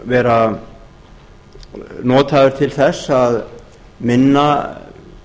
vera notaður til þess að minna